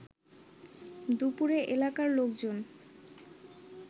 দুপুরে এলাকার লোকজন